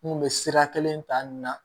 N kun be sira kelen ta nin na